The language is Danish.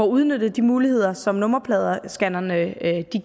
udnyttet de muligheder som nummerpladescannerne